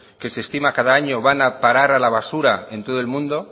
que se estima cada año van a parar a la basura en todo el mundo